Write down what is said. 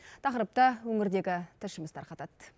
тақырыпты өңірдегі тілшіміз тарқатады